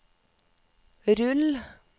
rull